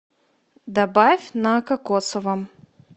добавь на кокосовом